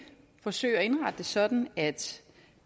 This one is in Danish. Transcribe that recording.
forsøge at indrette det sådan at